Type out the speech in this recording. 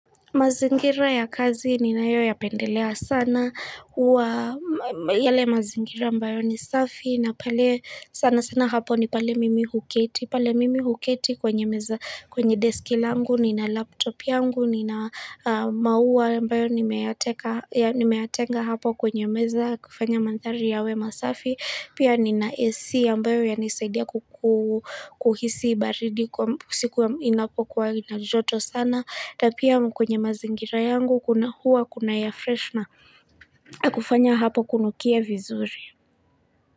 Mazingira ya kazi ninayo yapendelea sana huwa yale mazingira ambayo ni safi na pale sana sana hapo ni pale mimi huketi. Pale mimi huketi kwenye meza kwenye deski langu, nina laptop yangu, nina maua ambayo nimeyatenga hapo kwenye meza kufanya mandhari yawe masafi. Pia nina AC ambayo yanisaidia kuhisi baridi kwa mpusiku ya inapokuwa inajoto sana. Na pia kwenye mazingira yangu kuna huwa kuna ya fresh na kufanya hapo kunukia vizuri.